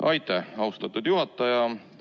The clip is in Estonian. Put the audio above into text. Aitäh, austatud juhataja!